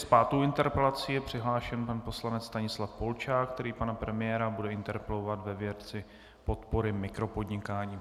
S pátou interpelací je přihlášen pan poslanec Stanislav Polčák, který pana premiéra bude interpelovat ve věci podpory mikropodnikání.